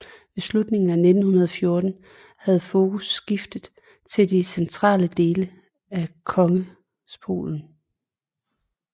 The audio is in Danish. Ved slutningen af 1914 havde fokus skiftet til de centrale dele af Kongrespolen